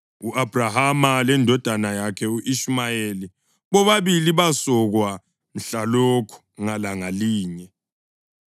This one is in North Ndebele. u-Abhrahama lendodana yakhe u-Ishumayeli bobabili basokwa mhlalokho ngalanga linye.